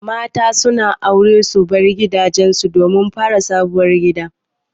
Mata su na aure su bar gidajen su domin fara sabuwar gida.